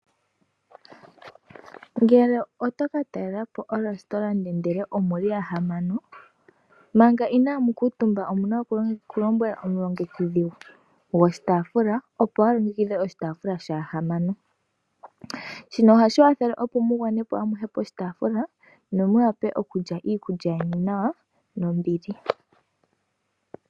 Ngele otoka talelapo o Restaurant ndele omuli ya hamano manga inamu kutumba omuna oku lombwela omulongekidhi gwoshitafula opo alongekidhe oshitafula shaantu yahamano. Shino ohashi kwathele opo mu gwanepo amuhe poshitafula nomu wape okulya iikulya yeni nawa nombili.